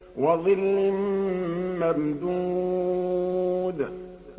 وَظِلٍّ مَّمْدُودٍ